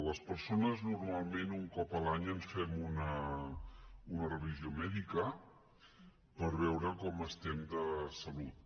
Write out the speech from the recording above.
les persones normalment un cop l’any ens fem una revisió mèdica per veure com estem de salut